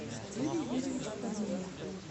юрий юрьевич корнеев